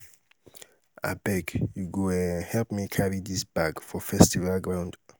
abeg you go um help me carry dis bag for festival ground.